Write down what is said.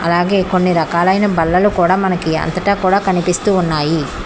అలాగే కొన్ని రకాలైన బల్లలు కూడా మనకి అంతటా కూడా కనిపిస్తూ ఉన్నాయి.